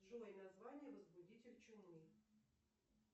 джой название возбудитель чумы